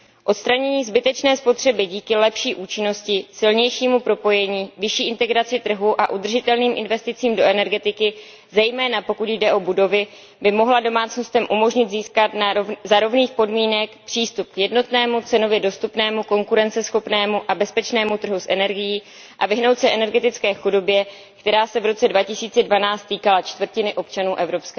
Odstranění zbytečné spotřeby díky lepší účinnosti, silnějšímu propojení, vyšší integraci trhu a udržitelným investicím do energetiky, zejména pokud jde o budovy, by mohlo domácnostem umožnit získat za rovných podmínek přístup k jednotnému, cenově dostupnému, konkurenceschopnému a bezpečnému trhu s energií a vyhnout se energetické chudobě, která se v roce 2012 týkala čtvrtiny občanů EU.